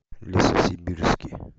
лесосибирске